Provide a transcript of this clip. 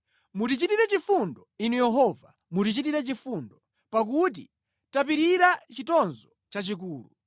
Mutichitire chifundo, Inu Yehova mutichitire chifundo, pakuti tapirira chitonzo chachikulu.